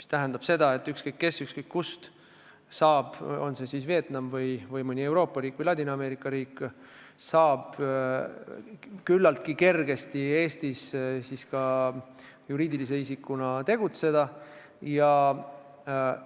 See tähendab seda, et ükskõik kes ja ükskõik kust – on see siis Vietnam või mõni Euroopa riik või Ladina-Ameerika riik – saab küllaltki kergesti Eestis juriidilise isikuna tegutseda ja